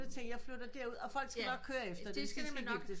Hun tænkte jeg flytter der ud og folk skal nok køre efter det